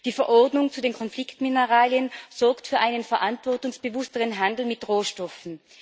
Die Verordnung zu den Konfliktmineralien sorgt für einen verantwortungsbewussteren Handel mit Rohstoffen.